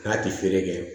K'a tɛ feere kɛ